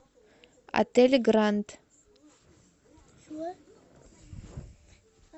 отель гранд